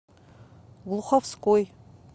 глуховской